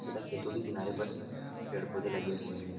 तथा खेतों के किनारे पर पेड़-पौधे लगे हुए हैं।